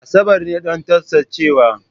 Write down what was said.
Asabar ne don tsaftacewa.